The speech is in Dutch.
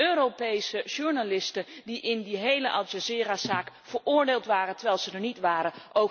Zij zijn Europese journalisten die in die hele Al Jazeera zaak veroordeeld werden, terwijl ze er niet waren.